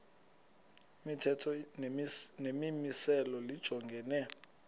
imithetho nemimiselo lijongene